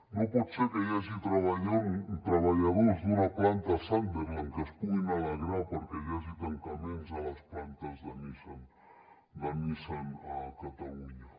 no pot ser que hi hagi treballadors d’una planta sunderland que es puguin alegrar perquè hi hagi tancaments a les plantes de nissan a catalunya